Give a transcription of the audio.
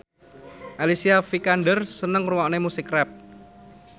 Alicia Vikander seneng ngrungokne musik rap